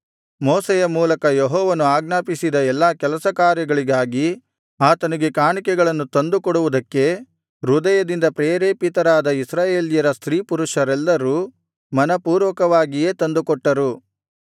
ಮೋಶೆಯ ಮೂಲಕ ಯೆಹೋವನು ಆಜ್ಞಾಪಿಸಿದ ಎಲ್ಲಾ ಕೆಲಸಕಾರ್ಯಗಳಿಗಾಗಿ ಆತನಿಗೆ ಕಾಣಿಕೆಗಳನ್ನು ತಂದುಕೊಡುವುದಕ್ಕೆ ಹೃದಯದಿಂದ ಪ್ರೇರೇಪಿತರಾಗಿ ಇಸ್ರಾಯೇಲ್ಯರ ಸ್ತ್ರೀಪುರುಷರೆಲ್ಲರೂ ಮನಃಪೂರ್ವಕವಾಗಿಯೇ ತಂದುಕೊಟ್ಟರು